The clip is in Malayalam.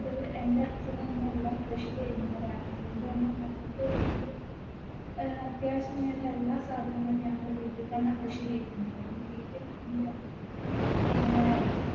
എൻറെ അച്ഛനും അമ്മയുമെല്ലാം കൃഷി ചെയ്യുന്നവരാണ് അതുകൊണ്ട് തന്നെ ഞങ്ങക്ക് വീട്ടില് അഹ് അത്യാവശ്യത്തിന് വേണ്ട എല്ലാ സാധനങ്ങളും ഞങ്ങള് വീട്ടിൽ തന്നെ കൃഷി ചെയുന്നുണ്ട് വീട്ടി നീക്കുമ്പ അങ്ങനെ